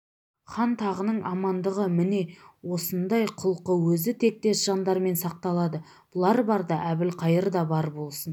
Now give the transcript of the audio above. хан тағының амандығы міне осындай құлқы өзі тектес жандармен сақталады бұлар барда әбілқайыр да бар болсын